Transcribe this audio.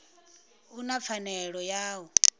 u na pfanelo ya u